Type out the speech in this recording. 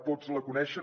tots la coneixen